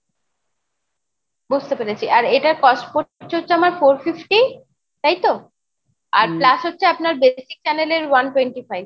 বুজতে পেরেছি আর এটার cost পড়ছে হচ্ছে আমার four fifty তাইতো? আর plus হচ্ছে আপনার basic channel এর one twenty five।